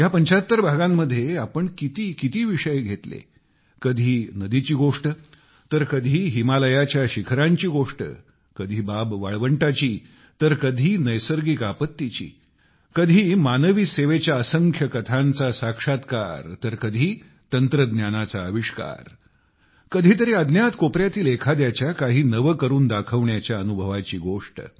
ह्या 75 भागांमध्ये आपण कितीकिती विषय घेतले कधी नदीची गोष्ट तर कधी हिमालयाच्या शिखरांची गोष्ट कधी बाब वाळवंटाची तर कधी नैसर्गिक आपत्तीची कधी कधी मानवी सेवेच्या असंख्य कथांचा साक्षात्कार तर कधी तंत्रज्ञानाचा अविष्कार कधी तरी अज्ञात कोपऱ्यातील एखाद्याच्या काही नवे करून दाखवण्याच्या अनुभवाची गोष्ट